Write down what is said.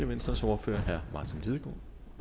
venstres ordfører herre martin lidegaard